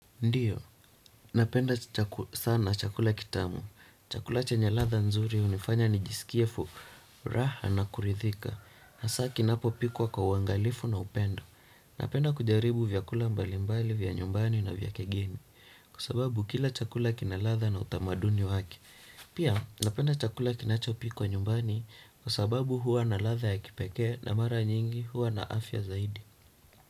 Ndiyo, napenda sana chakula kitamu. Chakula chenye ladha nzuri hunifanya nijisikie furaha na kuridhika. Hasa kinapopikwa kwa uangalifu na upendo. Napenda kujaribu vyakula mbalimbali vya nyumbani na vya kigeni. Kwa sababu kila chakula kina ladha na utamaduni wake. Pia, napenda chakula kinachopikwa nyumbani kwa sababu huwa na ladha ya kipekee na mara nyingi huwa na afya zaidi.